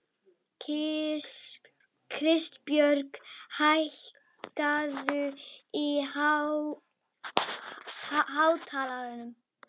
Það gera allir ungir menn sem fara á böll.